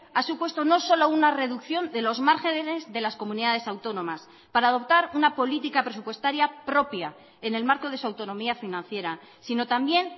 ha supuesto no solo una reducción de los márgenes de las comunidades autónomas para adoptar una política presupuestaria propia en el marco de su autonomía financiera sino también